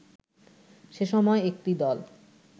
সে সময় একটি দল